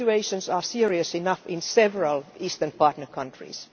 The situations are serious enough in several Eastern partner countries.